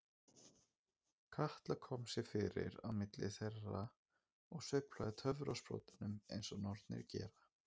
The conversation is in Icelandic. Katla kom sér fyrir á milli þeirra og sveiflaði töfrasprotanum eins og nornir gera.